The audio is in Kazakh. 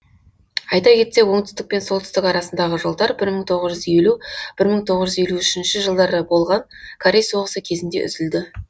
айта кетсек оңтүстік пен солтүстік арасындағы жолдар бір мың тоғыз жүз елу бір мың тоғыз жүз елу үшінші жылдары болған корей соғысы кезінде үзілді